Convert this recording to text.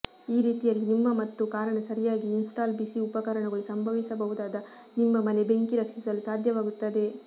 ಈ ರೀತಿಯಲ್ಲಿ ನಿಮ್ಮ ಮತ್ತು ಕಾರಣ ಸರಿಯಾಗಿ ಇನ್ಸ್ಟಾಲ್ ಬಿಸಿ ಉಪಕರಣಗಳು ಸಂಭವಿಸಬಹುದಾದ ನಿಮ್ಮ ಮನೆ ಬೆಂಕಿ ರಕ್ಷಿಸಲು ಸಾಧ್ಯವಾಗುತ್ತದೆ